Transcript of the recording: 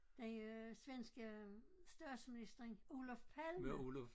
Den øh svenske statsminister Olof Palme